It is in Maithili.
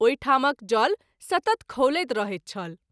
ओहि ठामक जल सतत खौलैत रहैत छल।